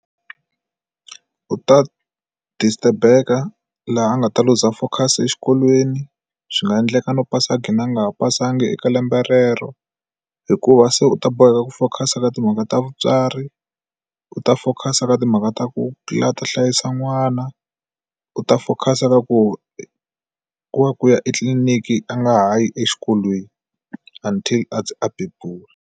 U ta disturb-eka laha a nga ta luza focus exikolweni swi nga endleka no pasanga a qhina nga pasanga eka lembe rero hikuva se u ta boheka ku focus eka timhaka ta vutswari u ta focus ka timhaka ta ku la ta hlayisa n'wana u ta focus ka ku wa ku ya etliliniki a nga ha yi exikolweni until a ndzi a bebula.